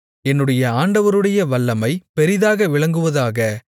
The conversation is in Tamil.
என்னுடைய ஆண்டவருடைய வல்லமை பெரிதாக விளங்குவதாக